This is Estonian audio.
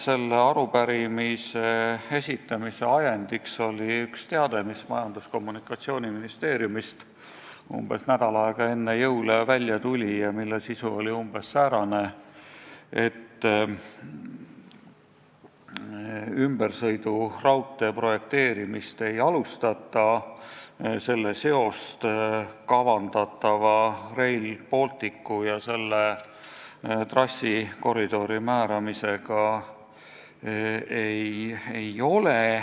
Selle arupärimise esitamise ajendiks oli üks teade, mis Majandus- ja Kommunikatsiooniministeeriumist umbes nädal aega enne jõule välja tuli ja mille sisu oli umbes säärane, et ümbersõiduraudtee projekteerimist ei alustata ning sellel pole mingit seost kavandatava Rail Balticu ja selle trassikoridori määramisega.